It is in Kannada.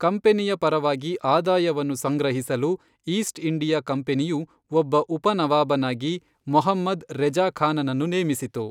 ಕಂಪೆನಿಯ ಪರವಾಗಿ ಆದಾಯವನ್ನು ಸಂಗ್ರಹಿಸಲು ಈಸ್ಟ್ ಇಂಡಿಯಾ ಕಂಪನಿಯು ಒಬ್ಬ ಉಪನವಾಬನಾಗಿ ಮೊಹಮ್ಮದ್ ರೆಜಾ ಖಾನನನ್ನು ನೇಮಿಸಿತು.